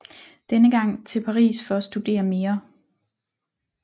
Denne gang til Paris for at studere mere